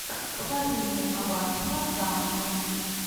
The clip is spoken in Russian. покажи мне аббатство даунтон